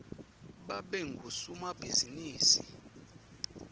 babe ngusomabhizimisi